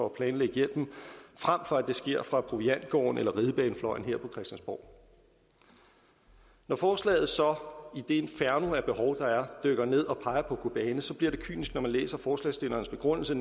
at planlægge hjælpen frem for at det sker fra proviantgården eller ridebanefløjen her på christiansborg når forslaget så i det inferno af behov der er dykker ned og peger på kobane så bliver det kynisk når man læser forslagsstillernes begrundelse